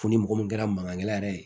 Fo ni mɔgɔ min kɛra mankankɛ la yɛrɛ ye